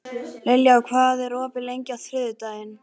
Liljá, hvað er opið lengi á þriðjudaginn?